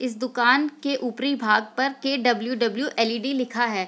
इस दुकान के ऊपरी भाग पर के.डब्लू.डब्लू. एल.ई.डी. लिखा है।